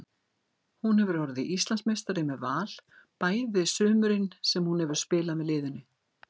Hún hefur orðið Íslandsmeistari með Val bæði sumurin sem hún hefur spilað með liðinu.